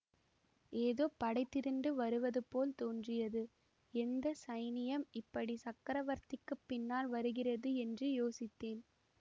ஏதோ படை திரண்டு வருவது போல் தோன்றியது எந்த சைனியம் இப்படி சக்கரவர்த்திக்குப் பின்னால் வருகிறது என்று யோசித்தேன்